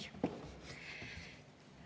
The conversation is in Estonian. Ei.